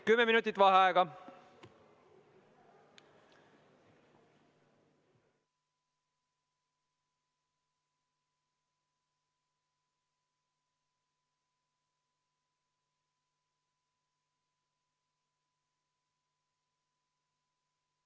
Kümme minutit vaheaega.